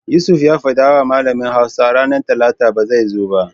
Yusuf ya fadawa malamin Hausa ranar Talata ba zai zo ba.